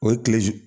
O ye tile